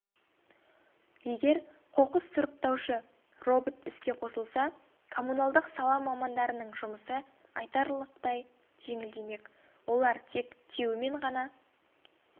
егер қоқыс сұраптаушы робот іске қосылса коммуналдық сала мамандарының жұмысы айтарлықтай жеңілдемек олар тек тиеумен ғана